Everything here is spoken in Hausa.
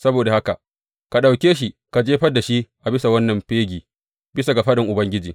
Saboda haka, ka ɗauke shi ka jefar da shi a bisa wannan fegi, bisa ga faɗin Ubangiji.